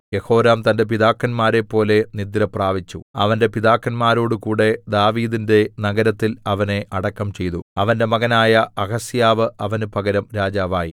യെഹോരാം തന്റെ പിതാക്കന്മാരെപ്പോലെ നിദ്രപ്രാപിച്ചു അവന്റെ പിതാക്കന്മാരോടുകൂടെ ദാവീദിന്റെ നഗരത്തിൽ അവനെ അടക്കം ചെയ്തു അവന്റെ മകനായ അഹസ്യാവ് അവന് പകരം രാജാവായി